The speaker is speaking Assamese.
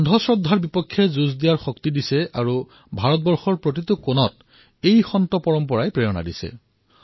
অন্ধ শ্ৰদ্ধাৰ বিৰুদ্ধে যুঁজিবলৈ শক্তি প্ৰদান কৰে আৰু হিন্দুস্তানৰ প্ৰতিটো প্ৰান্তত এই সন্তসকলে প্ৰেৰণা দিয়ে